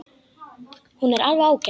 Hún er alveg ágæt.